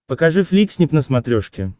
покажи фликснип на смотрешке